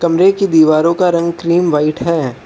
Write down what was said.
कमरे की दीवारों का रंग क्रीम व्हाईट है।